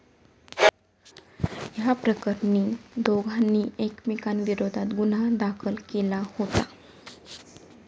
याप्रकरणी दोघांनी एकमेकांविरोधात गुन्हा दाखल केला होता.